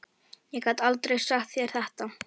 Ég gat aldrei sagt þér þetta.